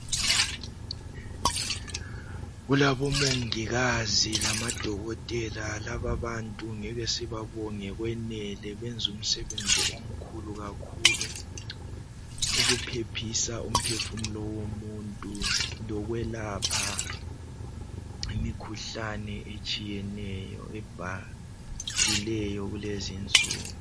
Kulabo mongikazi lamadokotela laba bantu ngeke sibabonge kwanele benza umsebenzi omkhulu kakhulu ukuphephisa umphefumulo womuntu lokwelapha imikhuhlane etshiyeneyo ebhahileyo kulezi insuku.